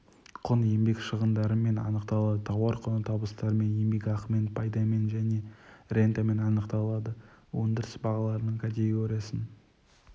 құн еңбек шығындарымен анықталады тауар құны табыстармен еңбекақымен пайдамен және рентамен анықталады өндіріс бағаларының категориясын